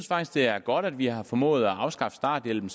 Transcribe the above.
faktisk det er godt at vi har formået at afskaffe starthjælpen